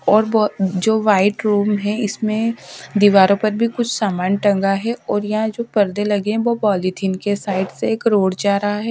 और बहुत जो व्हाइट रूम है इसमें दीवारों पर भी कुछ सामान टंगा है और यहां जो पर्दे लगे हैं वो पॉलीथिन के साइड से एक रोड जा रहा है।